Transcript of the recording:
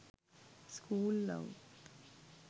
school love